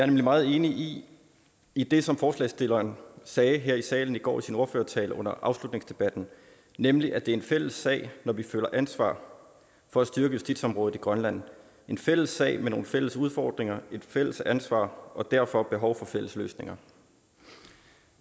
nemlig meget enig i det som forslagsstilleren sagde her i salen i går i sin ordførertale under afslutningsdebatten nemlig at det er en fælles sag når vi føler ansvar for at styrke justitsområdet i grønland en fælles sag med nogle fælles udfordringer et fælles ansvar og derfor behov for fælles løsninger